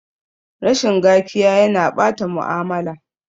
Rashin gakiya ya na ɓata mu'amala